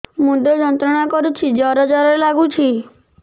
ମୁଣ୍ଡ ଯନ୍ତ୍ରଣା କରୁଛି ଜର ଜର ଲାଗୁଛି